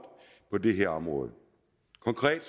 på det her område konkret